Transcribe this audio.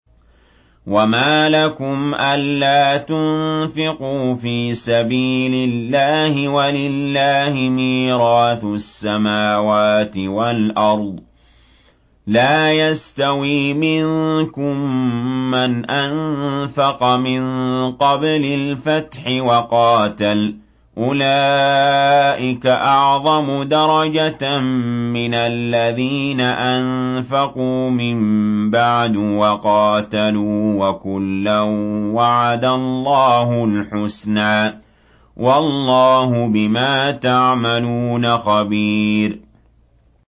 وَمَا لَكُمْ أَلَّا تُنفِقُوا فِي سَبِيلِ اللَّهِ وَلِلَّهِ مِيرَاثُ السَّمَاوَاتِ وَالْأَرْضِ ۚ لَا يَسْتَوِي مِنكُم مَّنْ أَنفَقَ مِن قَبْلِ الْفَتْحِ وَقَاتَلَ ۚ أُولَٰئِكَ أَعْظَمُ دَرَجَةً مِّنَ الَّذِينَ أَنفَقُوا مِن بَعْدُ وَقَاتَلُوا ۚ وَكُلًّا وَعَدَ اللَّهُ الْحُسْنَىٰ ۚ وَاللَّهُ بِمَا تَعْمَلُونَ خَبِيرٌ